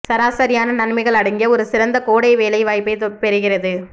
சராசரியான நன்மைகள் அடங்கிய ஒரு சிறந்த கோடை வேலை வாய்ப்பைப் பெறுகிறது